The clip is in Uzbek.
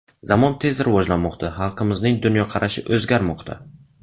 Zamon tez rivojlanmoqda, xalqimizning dunyoqarashi o‘zgarmoqda.